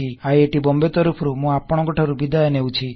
IIT Bombay ତରଫରୁ ମୁଁ ଆପଣକଂଠାରୁ ବିଦାୟ ନେଉଛି